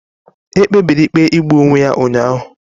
Ekpebiri ikpe igbu onwe ya ụnyahụ?